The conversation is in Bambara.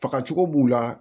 Fagacogo b'u la